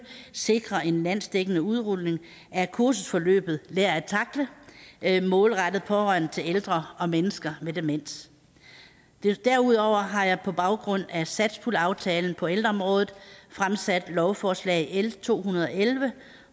sikrer en landsdækkende udrulning af kursusforløbet lær at tackle der er målrettet pårørende til ældre og mennesker med demens derudover har jeg på baggrund af satspuljeaftalen på ældreområdet fremsat lovforslag nummer l to hundrede og elleve